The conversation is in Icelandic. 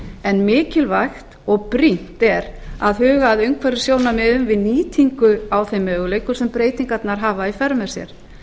en mikilvægt og brýnt er að huga að umhverfissjónarmiðum við nýtingu á þeim möguleikum sem breytingarnar hafa í för með sér